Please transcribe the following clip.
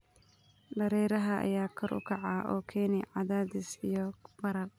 Dareeraha ayaa kor u kaca, oo keena cadaadis iyo barar.